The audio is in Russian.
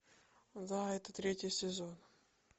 да это третий сезон